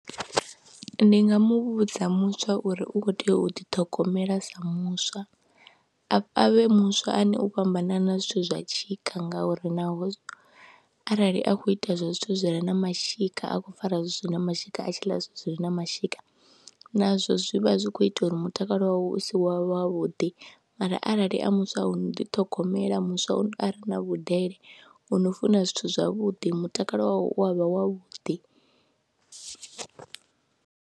Ndi nga mu vhudza muswa uri u khou tea u ḓiṱhogomela sa muswa, a vhe muswa ane u fhambanana zwithu zwa tshika ngauri naho arali a khou ita zwa zwithu zwi re na mashika a khou fara zwi na mashika, a tshi ḽa zwithu zwi re na mashika nazwo zwi vha zwi khou ita uri mutakalo wawe u si wa wavhuḓi mara arali a muswa o no ḓithogomela, muswa u a re na vhudele o no funa zwithu zwavhuḓi mutakalo wawe u a vha wavhuḓi.